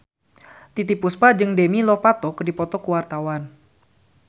Titiek Puspa jeung Demi Lovato keur dipoto ku wartawan